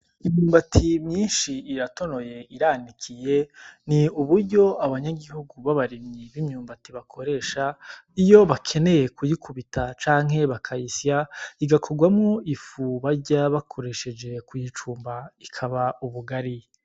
Imyumbati myinshi iratonoye iranikiye ni uburyo abanyagihugu b'abarimyi b'imyumbati bakoresha iyo bakeneye kuyikubita canke bakayisya iza kuvamwo ifu barya bakoresheje kuyicumba ikaba ubugari.